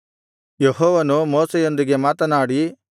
ಯೆಹೋವನು ಮೋಶೆಯೊಂದಿಗೆ ಮಾತನಾಡಿ